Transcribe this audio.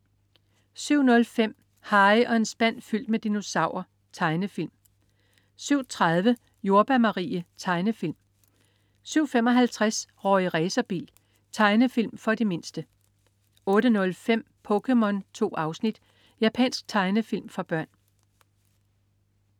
07.05 Harry og en spand fyldt med dinosaurer. Tegnefilm 07.30 Jordbær Marie. Tegnefilm 07.55 Rorri Racerbil. Tegnefilm for de mindste 08.05 POKéMON. 2 afsnit. Japansk tegnefilm for børn